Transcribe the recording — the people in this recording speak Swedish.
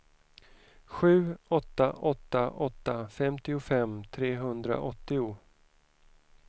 sju åtta åtta åtta femtiofem trehundraåttio